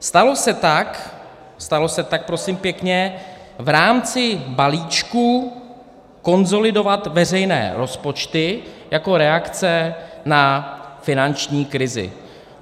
Stalo se tak, stalo se tak prosím pěkně, v rámci balíčku konsolidovat veřejné rozpočty jako reakce na finanční krizi.